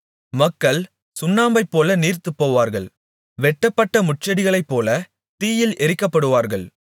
மக்கள் சுண்ணாம்பைப்போல நீர்த்துப்போவார்கள் வெட்டப்பட்ட முட்செடிகளைப்போலத் தீயில் எரிக்கப்படுவார்கள்